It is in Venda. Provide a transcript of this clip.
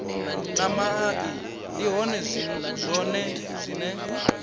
na mai ndi zwone zwine